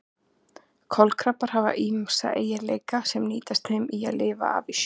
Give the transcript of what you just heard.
Kolkrabbar hafa ýmsa eiginleika sem nýtast þeim í að lifa af í sjónum.